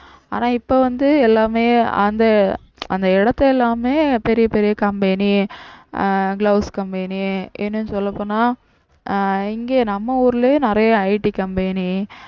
ஆனா இப்ப வந்து எல்லாமே அந்த அந்த இடத்தை எல்லாமே பெரிய பெரிய company அஹ் gloves company இன்னும் சொல்லப் போனால் அஹ் இங்க நம்ம ஊர்லயே நிறைய ITcompany